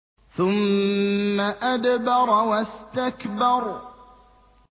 ثُمَّ أَدْبَرَ وَاسْتَكْبَرَ